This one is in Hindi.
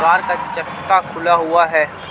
कार का चटका खुला हुआ हे.